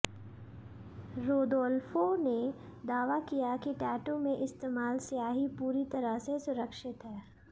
Rodolfo ने दावा किया कि टैटू में इस्तेमाल स्याही पूरी तरह से सुरक्षित है